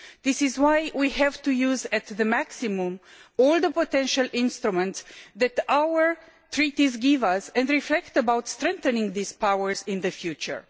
This is why we have to use to the maximum all the potential instruments that our treaties give us and reflect on strengthening these powers in the future.